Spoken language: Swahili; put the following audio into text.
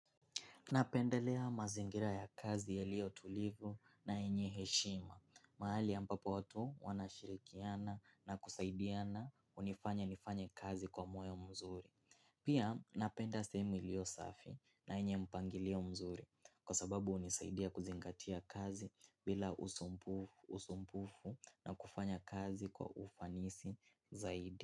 Napendelea mazingira ya kazi yalio tulivu na yenye heshima. Mahali ambapo watu wanashirikiana na kusaidiana unifanya nifanya kazi kwa moyo mzuri. Pia napenda sehemu ilio safi na yenye mpangilio mzuri kwa sababu unisaidia kuzingatia kazi bila usumpufu na kufanya kazi kwa ufanisi zaidi.